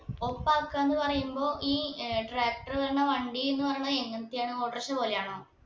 ഒപ്പാക്കാന്ന് പറയുമ്പോ ഈ tractor ഏർ പറഞ്ഞ വണ്ടി ന്ന് പറയണ എങ്ങതെയാന്ന് auto rickshaw പോലെയാണോ